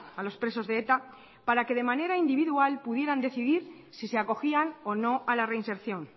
a los presos de eta para que de manera individual pudieran decidir si se acogían o no a la reinserción